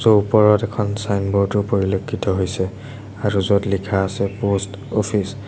ওপৰত এখন ছাইনবোৰ্ড ও পৰিলক্ষিত হৈছে। আৰু য'ত লিখা আছে প'ষ্ট অফিচ ।